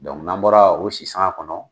n'an bɔra o sisan kɔnɔ.